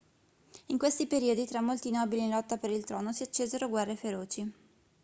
in questi periodi tra molti nobili in lotta per il trono si accesero guerre feroci